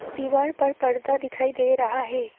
दीवार पर पर्दा दिखाई दे रहा है।